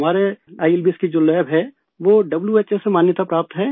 हमारे आईएलबीएस की जो लैब है वो व्हो से मान्यताप्राप्त है